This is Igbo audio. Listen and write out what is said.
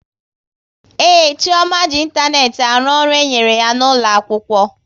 Ee, Chioma ji ịntanetị arụ ọrụ e nyere ya n'ụlọ akwụkwọ